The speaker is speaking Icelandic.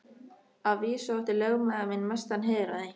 Að vísu átti lögmaður minn mestan heiður af því.